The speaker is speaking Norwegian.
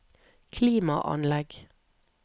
klimaanlegg